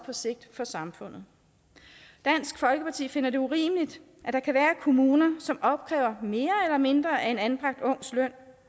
for samfundet dansk folkeparti finder det urimeligt at der kan være kommuner som opkræver mere eller mindre af en anbragt ungs løn